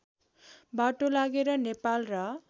बाटो लागेर नेपाल र